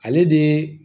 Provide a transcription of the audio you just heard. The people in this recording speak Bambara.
Ale de ye